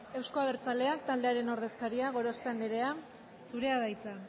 euzko abertzaleak taldearen ordezkaria gorospe andrea zurea da hitza